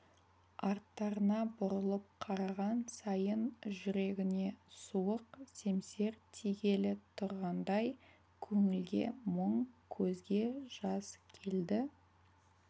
арттарына бұрылып қараған сайын жүрегіне суық семсер тигелі тұрғандай көңілге мұң көзге жас келді